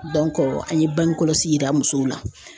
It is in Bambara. an ye bange kɔlɔsi yira musow la.